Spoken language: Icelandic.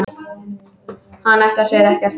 Hann ætlar sér ekkert.